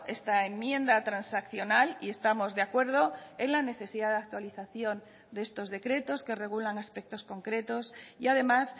esta enmienda transaccional y estamos de acuerdo en la necesidad de actualización de estos decretos que regulan aspectos concretos y además